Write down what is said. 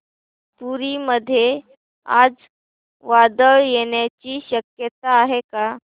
पुरी मध्ये आज वादळ येण्याची शक्यता आहे का